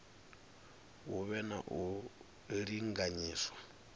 hu vhe na u linganyiswa